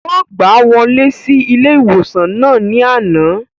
Wọ́n gbàá wọlé sí ilé-ìwòsàn náà ní àná